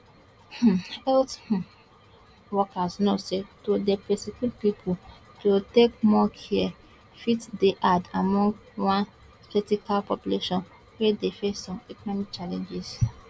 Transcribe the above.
um health um workers know say to dey persuade pipo to take more care fit dey hard among one sceptical population wey dey face some economic challenges